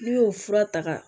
N'u y'o fura ta